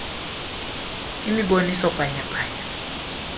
imiboniso bhanya bhanya